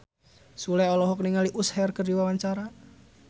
Sule olohok ningali Usher keur diwawancara